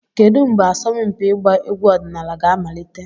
Kedu mgbe asọmpi ịgba egwu ọdịnala ga-amalite?